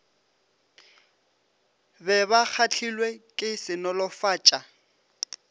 be ba kgahlilwe ke senolofatša